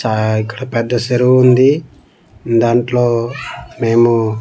చాయ్ ఇక్కడ పెద్ద చెరువు ఉంది దాంట్లో మేము--